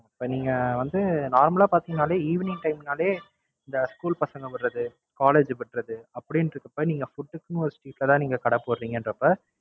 இப்ப நீங்க வந்து Normal ஆ பாத்தீங்கனாலே Evening time னாலே இந்த School பசங்க விடறது College விடறது அப்படின்ட்டு இருக்குறப்ப நீங்க Food க்குன்னு ஒரு கடை போட்றீங்கன்றப்ப